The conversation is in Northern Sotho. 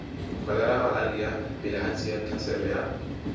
kholera malaria bilharzia tlhaselo ya